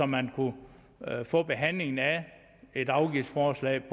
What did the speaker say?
man kunne få behandlingen af et afgiftsforslag